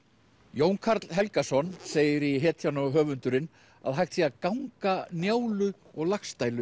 Jón Karl Helgason segir í hetjan og höfundurinn að hægt sé að ganga Njálu og Laxdælu